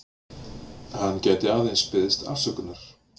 Hann gæti aðeins beðist afsökunar